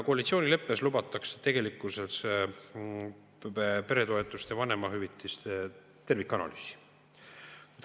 Koalitsioonileppes lubatakse peretoetuste ja vanemahüvitiste tervikanalüüsi.